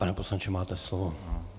Pane poslanče, máte slovo.